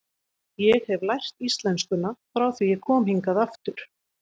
Ég hef lært íslenskuna frá því ég kom hingað aftur.